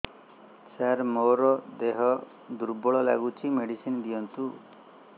ସାର ମୋର ଦେହ ଦୁର୍ବଳ ଲାଗୁଚି ମେଡିସିନ ଦିଅନ୍ତୁ